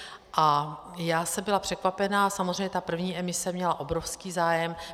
A já jsem byla překvapená, samozřejmě ta první emise měla obrovský zájem.